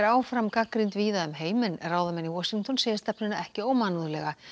áfram gagnrýnd víða um heim en ráðamenn í Washington segja stefnuna ekki ómannúðlega